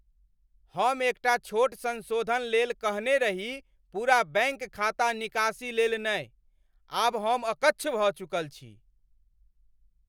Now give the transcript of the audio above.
हम एकटा छोट संशोधन लेल कहने रही पूरा बैंक खाता निकासी लेल नहि! आब हम अकच्छ भऽ चुकल छी।